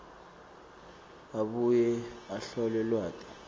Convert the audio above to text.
abuye ahlole lwati